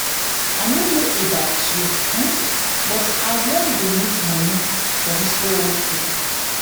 i no know about you but i you but i wan donate money for dis old people